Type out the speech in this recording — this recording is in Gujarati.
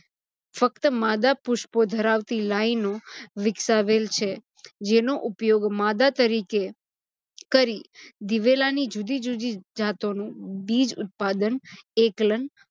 ફક્ત માદા પુષ્પો ધરાવતી લાઇનો વિકસાવેલ છે. જેનો ઉપયોગ માદા તરીકે કરી દિવેલાની જુદી-જુદી જાતોનું બીજ ઉત્પાદન, એકલન